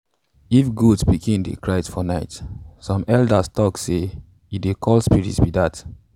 if goat pikin dey cry for night some elders tok say elders tok say e dey call spirits be dat.